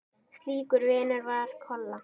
Slíkur vinur var Kolla.